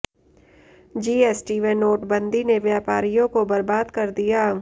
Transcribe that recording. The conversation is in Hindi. जीएसटी व नोटबंदी ने व्यापारियों को बर्बाद कर दिया